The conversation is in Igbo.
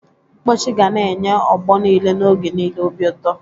Mkpọchị gana enye ọgbọ niile n'oge niile obi ụtọ.